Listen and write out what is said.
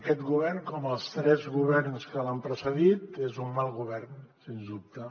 aquest govern com els tres governs que l’han precedit és un mal govern sens dubte